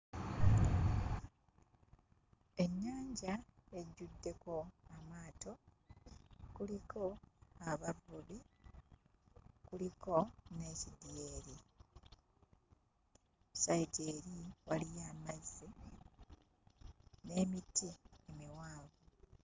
Ennyanja ejjuddeko amaato. Kuliko abavubi, kuliko n'ekidyeri. Sayidi eri waliyo amazzi n'emiti emiwanvu.